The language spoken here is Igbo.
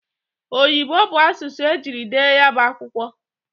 Oyibo bụ asụsụ e jiri dee ya bụ akwụkwọ.